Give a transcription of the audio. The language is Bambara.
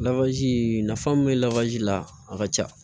nafa min bɛ la a ka ca